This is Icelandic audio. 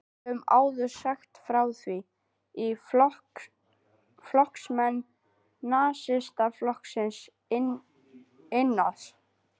Við höfum áður sagt frá því, að flokksmenn Nasistaflokksins innan